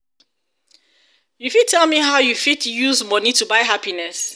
you fit tell me how you fit use money to buy happiness.